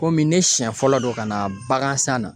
Komi ne siɲɛ fɔlɔ don ka na bagan san na